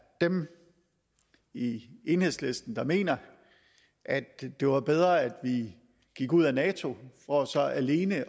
dem i enhedslisten der mener at det var bedre at vi gik ud af nato for så alene